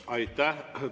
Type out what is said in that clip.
Aitäh!